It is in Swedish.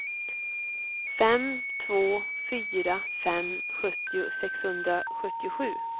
fem två fyra fem sjuttio sexhundrasjuttiosju